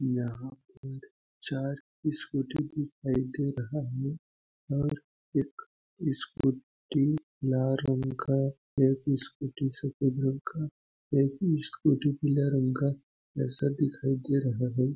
यहाँ पर चार स्कूटी दिखाई दे रहा है और एक स्कूटी लाल रंग का और एक स्कूटी सफ़ेद रंग का एक स्कूटी पीला रंग का ऐसा दिखाई दे रहा हैं।